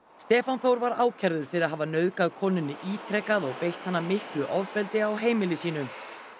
Stefán Þór var ákærður fyrir hafa nauðgað konunni ítrekað og beitt hana miklu ofbeldi á heimili sínu